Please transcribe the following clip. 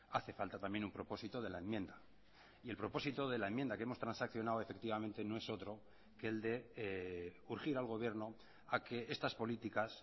hace falta también un propósito de la enmienda y el propósito de la enmienda que hemos transaccionado efectivamente no es otro que el de urgir al gobierno a que estas políticas